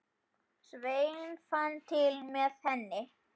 Sveinn fann til með henni.